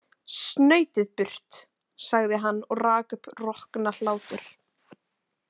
Snautið burt, sagði hann og rak upp roknahlátur.